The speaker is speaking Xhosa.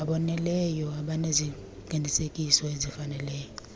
aboneleyo abaneziqinisekiso ezifaneleyo